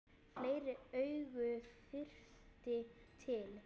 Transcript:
Fleiri augu þyrfti til.